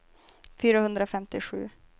fyrahundrafemtiosju